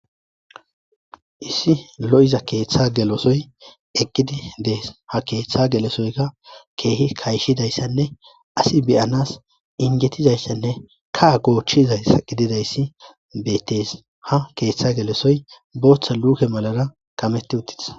Issi lo7iza keeththa gelosoy eqqidi dees ha keeththa gelesoyka keehi kayshidayssanne asi beyanas injetizayssanne kaa goochchizasa qididayssi bettes ha keeththa gelesoy booththa luuke malara kametti uttitas.